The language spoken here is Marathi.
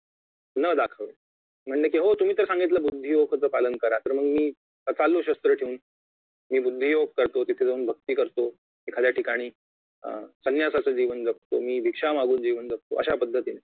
न दाखवणे म्हणणे कि हो तुम्ही तर सांगितले बुद्धी योगचा पालन करा तर मी चाललो क्षत्र ठेऊन मी बुद्धी योग करतो तिथे जाऊन भक्ती करतो एखाद्या ठिकाणी संन्यासाचे जीवन जगतो मी भिक्षा मागून जीवन जगतो अशापद्धतीने